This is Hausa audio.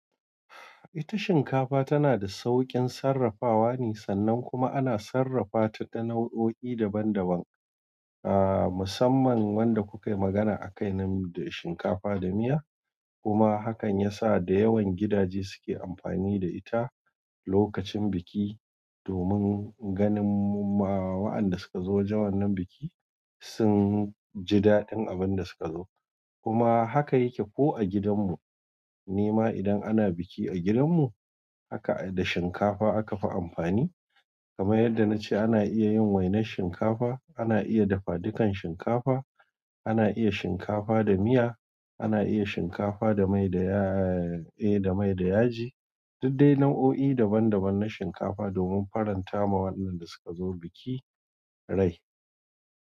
Ita shinkafa tana da sauƙin sarrafawa ne, sannan kuma ana sarrafa ta da nau'o'i daban-daban. A musaman wanda ku kayi magana a kai nan da shinkafa da miya kuma hakan yasa da yawan gidaje suke amfani da ita lokacin biki, domin ganin ma wa'anda suka zo wajen nan biki sun ji daɗin abin da suka zo. Kuma haka yake ko a gidan mu, ni ma idan ana biki a gidan mu, haka da shinkafa akafi amfani. Kamar yadda nace ana iya yin wainar shinkafa, ana iya dafadukan shinkafa, ana iya shinkafa da miya, ana iya shinkafa da mai da yaa e da mai da yaji. Duk dai nau'o'i daban-daban na shinkafa domin faranta ma wa'annan da suka zo biki rai.